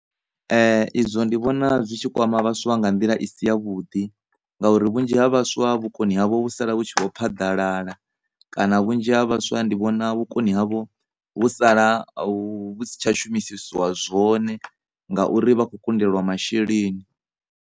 Ezwo ndi vhona zwi tshi kwama vhaswa nga nḓila i si ya vhuḓi ngauri vhunzhi ha vhaswa vhukoni havho vhu sala vhu tshi vho phaḓalala, kana vhunzhi ha vhaswa ndi vhona vhukoni havho vhu sala vhu si tsha shumisisiwa zwone ngauri vha kho kundelwa masheleni.